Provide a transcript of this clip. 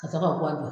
Ka sɔrɔ ka bɔ a